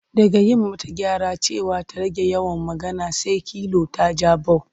Daga yi mata gyara cewa ta rage yawan magana, sai kilu ta ja bau.